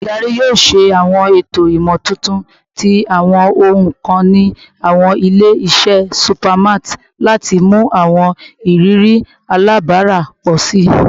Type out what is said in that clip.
Oludari yoo ṣe awọn eto imotuntun ti awọn ohun kan ni awọn ile-iṣẹ supermarts lati mu awọn iriri alabara pọ si